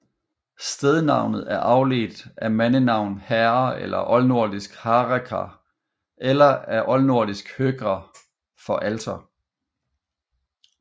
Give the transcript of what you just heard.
Stednavnet er afledt af mandenavn Harre eller oldnordisk Harekr eller af oldnordisk hörgr for alter